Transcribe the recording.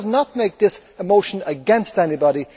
So let us not make this a motion against anybody.